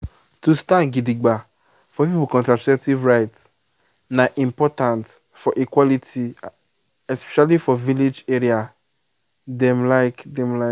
to stand gidigba for people contraceptive rights na important for equality especially for village area dem like. dem like.